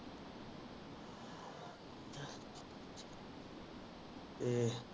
ਏਹ